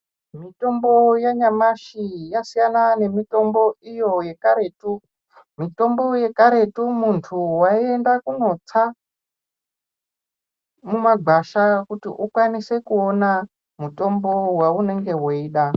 Mitombo yanyamashi yasina nemitombo iyo yekaretu, mitombo yekaretu muntu wayienda kunotsa mumagwasha ,kuti ukwanise kuona mutombo waunenge weyida.